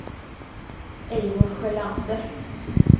Eivor Sjölander